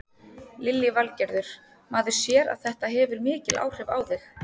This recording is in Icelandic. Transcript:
Lillý Valgerður: Maður sér að þetta hefur mikil áhrif á þig?